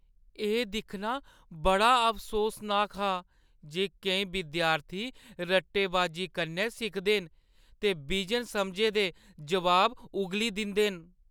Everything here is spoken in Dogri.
एह् दिक्खना बड़ा अफसोसनाक हा जे केईं विद्यार्थी रट्टेबाजी कन्नै सिखदे न ते बिजन समझे दे जवाब उग्गली दिंदे न।